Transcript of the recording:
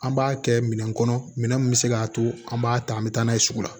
An b'a kɛ minɛn kɔnɔ minɛn min bɛ se k'a to an b'a ta an bɛ taa n'a ye sugu la